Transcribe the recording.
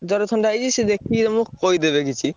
ଜ୍ବର, ଥଣ୍ଡା ହେଇଛି ସେ ଦେଖିକି ତମୁକୁ କହିଦେବେ କିଛି।